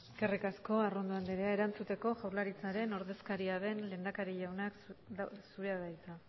eskerrik asko arrondo anderea erantzuteko jaurlaritzaren ordezkaria den lehendakari jauna zurea da hitza